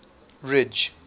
ridge